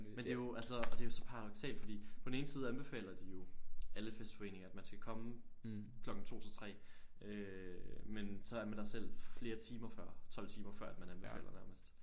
Men det er jo altså og det er jo så paradoksalt fordi på den ene side anbefaler de jo alle festforeninger at man skal komme klokken 2 til 3 øh men så er man der selv flere timer før 12 timer før at man anbefaler nærmest